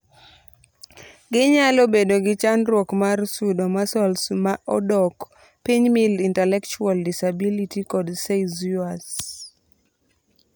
gi nyalo bedo gi chandruok mar sudo, muscles maa odok pinymild intellectual disabilitykod seizures